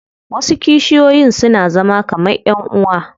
Wasu kishiyoyin suna zama kaman ƴan uwa.